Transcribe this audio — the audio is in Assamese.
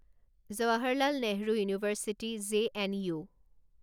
Jawaharlal Nehru university JNU